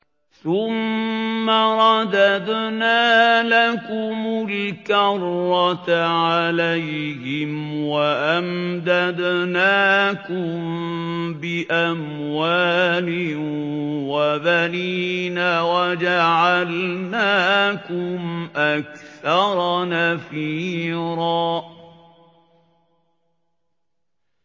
ثُمَّ رَدَدْنَا لَكُمُ الْكَرَّةَ عَلَيْهِمْ وَأَمْدَدْنَاكُم بِأَمْوَالٍ وَبَنِينَ وَجَعَلْنَاكُمْ أَكْثَرَ نَفِيرًا